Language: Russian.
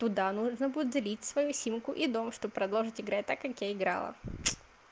туда нужно будет залить свою симку и дома чтобы продолжить играть так как я играла